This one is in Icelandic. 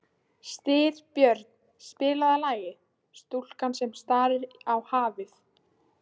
Styrbjörn, spilaðu lagið „Stúlkan sem starir á hafið“.